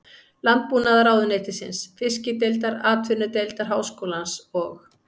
Landbúnaðarráðuneytisins, Fiskideildar Atvinnudeildar Háskólans og